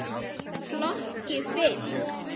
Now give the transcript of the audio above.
Flokki fylkt.